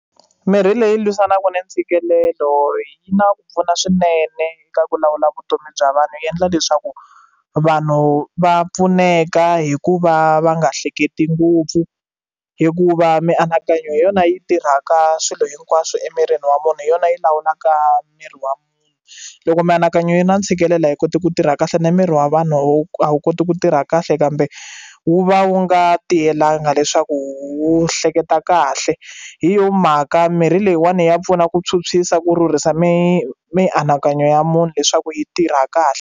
Mirhi leyi lwisanaka ni ntshikelelo yi na ku pfuna swinene eka ku lawula vutomi bya vanhu yi endla leswaku vanhu va pfuneka hi ku va va nga hleketi ngopfu hikuva mianakanyo hi yona yi tirhaka swilo hinkwaswo emirini wa munhu hi yona yi lawulaka miri wa munhu loko mianakanyo yi na ntshikelelo a yi koti ku tirha kahle na miri wa vanhu a wu koti ku tirha kahle kambe wu va wu nga tiyelangi leswaku wu hleketa kahle hi yo mhaka mirhi leyiwani ya pfuna ku phyuphyisa ku rhurhisa mi mianakanyo ya munhu leswaku yi tirha kahle.